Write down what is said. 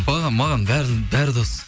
маған бәрі бәрі дос